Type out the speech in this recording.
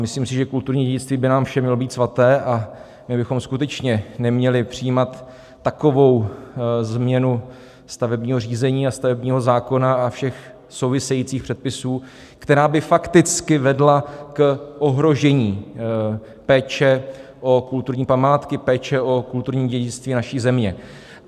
Myslím si, že kulturní dědictví by nám všem mělo být svaté a my bychom skutečně neměli přijímat takovou změnu stavebního řízení a stavebního zákona a všech souvisejících předpisů, která by fakticky vedla k ohrožení péče o kulturní památky, péče o kulturní dědictví naší země.